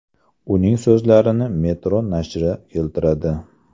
Uning so‘zlarini Metro nashri keltiradi .